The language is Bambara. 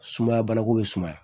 Sumaya banako bɛ sumaya